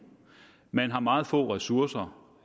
man har meget få ressourcer